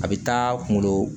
A bɛ taa kunkolo